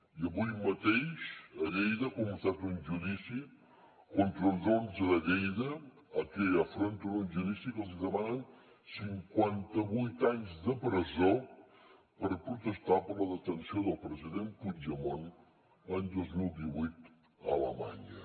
i avui mateix a lleida ha començat un judici contra els onze de lleida que afronten un judici que els demanen cinquanta vuit anys de presó per protestar per la detenció del president puigdemont l’any dos mil divuit a alemanya